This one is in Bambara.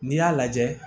N'i y'a lajɛ